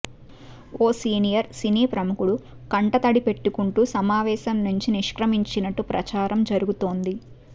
ఓ senior సినీ ప్రముఖుడు కంటతడి పెట్టుకుంటూ సమావేశం నుంచి నిష్క్రమించినట్టు ప్రచారం జరుగుతోంది